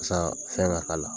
fɛn ka